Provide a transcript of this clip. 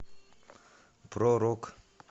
про рок